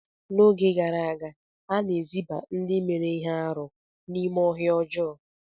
N'oge gara aga, a na-eziba ndị mere ihe arụ n'ime ọhịa ọjọọ.